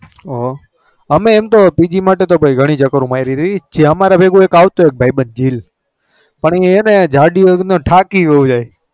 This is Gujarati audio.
ઓ અમે એમ તો PG માટે તો ભાઈ ઘણી ચક્રો મારી હતી. જે અમારે ભેગો એક આવતો એક ભાઈબંધ જીલ પણ એ છે ને જાડિયો થાકી બહુ જાય.